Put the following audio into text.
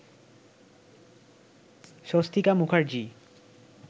Swastika Mukherjee